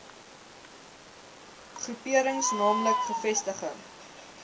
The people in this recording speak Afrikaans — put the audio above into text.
groeperings naamlik gevestigde